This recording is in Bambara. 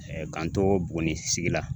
ka n to Buguni sigi la